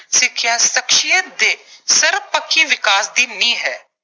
ਸਿੱਖਿਆ ਸ਼ਖਸੀਅਤ ਦੇ ਸਰਬਪੱਖੀ ਵਿਕਾਸ ਦੀ ਨੀਂਹ ਹੈ।